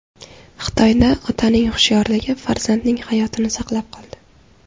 Xitoyda otaning hushyorligi farzandining hayotini saqlab qoldi .